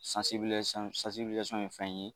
Sansibilisasiyɔn sansibilisasiyɔn ye fɛn ye